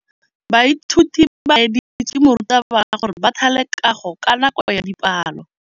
Baithuti ba laeditswe ke morutabana gore ba thale kagô ka nako ya dipalô.